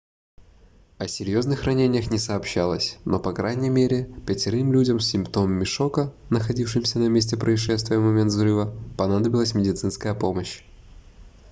о серьезных ранениях не сообщалось но по крайней мере пятерым людям с симптомами шока находившимся на месте происшествия в момент взрыва понадобилась медицинская помощь